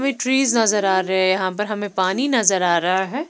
हमें ट्रीज नजर आ रहे हैं यहां पर हमें पानी नजर आ रहा है।